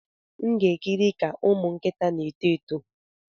M ga-ekiri ka ụmụ nkịta na-eto eto.